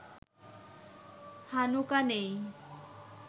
Hanukkah নেই